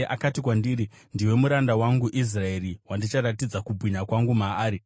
Akati kwandiri, “Ndiwe muranda wangu, Israeri, wandicharatidza kubwinya kwangu maari.”